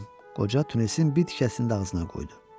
Qoca tünəsin bitkisini də ağzına qoydu.